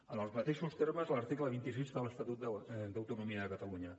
en els mateixos termes l’article vint sis de l’estatut d’autonomia de catalunya